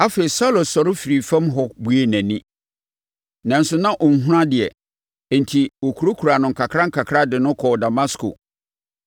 Afei, Saulo sɔre firii fam hɔ buee nʼani, nanso na ɔnhunu adeɛ. Enti, wɔkurakura no nkakrankakra de no kɔɔ Damasko.